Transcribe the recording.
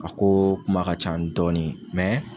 A koo kuma ka can dɔɔnin